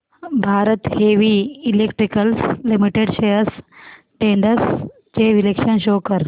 Bharat Heavy Electricals Limited shares trends चे विश्लेषण show कर